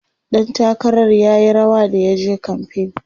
ɗan takarar r yayi rawa da yaje kamfain